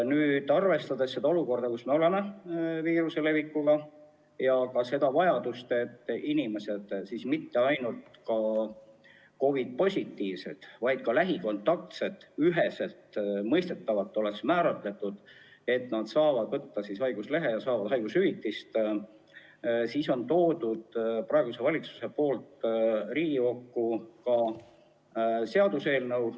Nüüd, arvestades viiruse leviku olukorda ja vajadust, et inimesed, mitte ainult COVID-positiivsed, vaid ka lähikontaktsed, saaksid võtta haiguslehe ja saada haigushüvitist, on praegune valitsus toonud Riigikokku seaduseelnõu.